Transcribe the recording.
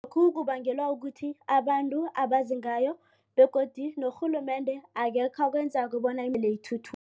Kubangelwa kukuthi abantu abazi ngayo begodu norhulumende akekho akwenzako bona